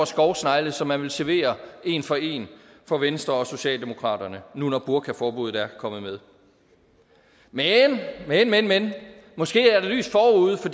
skovsnegle som man vil servere en for en for venstre og socialdemokratiet nu når burkaforbuddet er kommet med men men men måske er der lys forude for